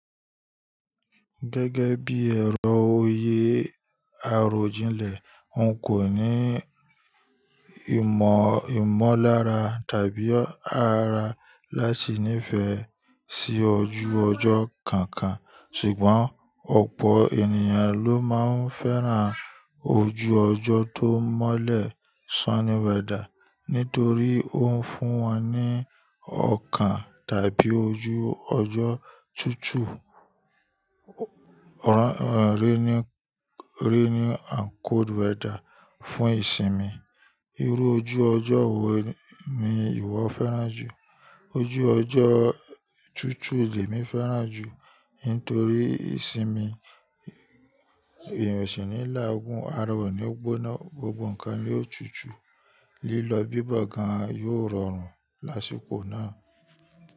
Gẹ́gẹ́ bí ẹ̀rọ oyé arojìnlẹ̀, n kò ní ìmọ̀ ìmọ́lára tàbí ara láti nífẹ̀ẹ́ sí ojú ọjọ́ kankan. Ṣùgbọ́n ọ̀pọ̀ ènìyàn ló ma ń fẹ́ràn ojú ọjọ́ tó mọ́lẹ̀ nítorí ó ń fún wọn ní ọkàn tàbí ojú ọjọ́ tutù on rainy and cold weather fún ìsinmi. Irú ojú ọjọ́ wo ni ìwọ fẹ́ràn jù? Ojú ọjọ́ tutù ni èmi fẹ́ràn jù nítorí ìsinmi èèyàn o si ní làá gún ara o ní gbonaa gbogbo nǹkan ní ó tutù. Lílọ bíbọ̀ gan an yóò rọrùn lásìkò náà.